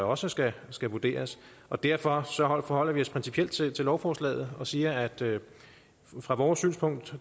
også skal vurderes og derfor forholder vi os principielt til lovforslaget og siger at fra vores synspunkt